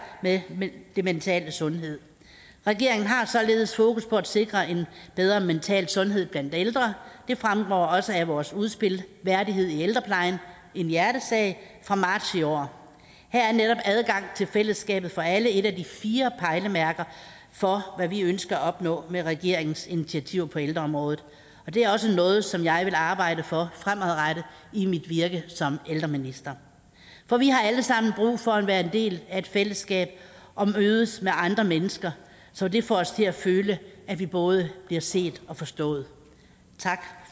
med den mentale sundhed regeringen har således fokus på at sikre en bedre mental sundhed blandt ældre det fremgår også af vores udspil værdighed i ældreplejen en hjertesag fra marts i år her er netop adgang til fællesskabet for alle et af de fire pejlemærker for hvad vi ønsker at opnå med regeringens initiativer på ældreområdet og det er også noget som jeg vil arbejde for fremadrettet i mit virke som ældreminister for vi har alle sammen brug for at være en del af et fællesskab og mødes med andre mennesker så det får os til at føle at vi både bliver set og forstået tak